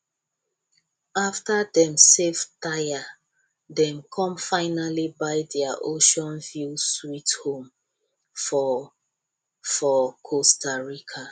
after dem save tire dem come finally buy their oceanview sweet home for for costa rica